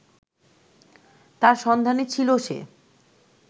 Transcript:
তার সন্ধানে ছিল সে